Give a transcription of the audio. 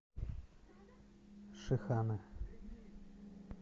шиханы